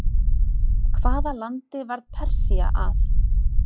Hvaða landi varð Persía að?